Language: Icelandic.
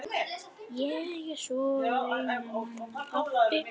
Ég er svo einmana pabbi.